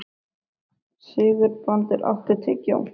Sigurbrandur, áttu tyggjó?